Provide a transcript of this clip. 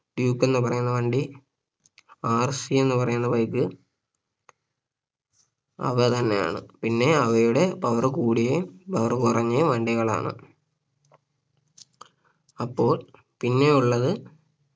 Duke എന്ന് പറയുന്ന വണ്ടി RC എന്ന് പറയുന്ന bike അവ തന്നെയാണ് പിന്നെ അവയുടെ power കൂടിയയും power കുറഞ്ഞയും വണ്ടികളാണ് അപ്പോൾ പിന്നെ ഉള്ളത്